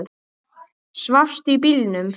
Svafstu í bílnum?